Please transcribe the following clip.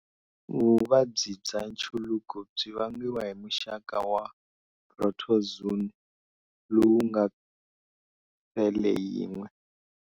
Vuvabyi bya nchuluko byi vangiwa hi muxaka wa protozoon lowu nga sele yin'we.